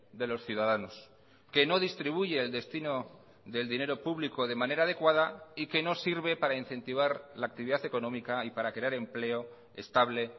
de los ciudadanos que no distribuye el destino del dinero público de manera adecuada y que no sirve para incentivar la actividad económica y para crear empleo estable